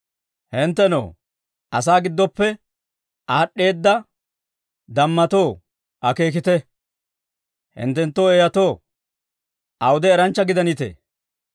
Hinttenoo, asaa giddoppe aad'd'eeda dammatoo, akeekite! Hinttenoo eeyyatoo, awude eranchcha gidanitee?